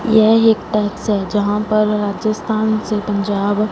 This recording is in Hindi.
यह एक टैक्स है जहां पर राजस्थान से पंजाब--